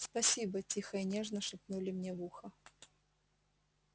спасибо тихо и нежно шепнули мне в ухо